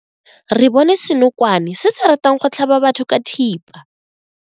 Re bone senokwane se se ratang go tlhaba batho ka thipa.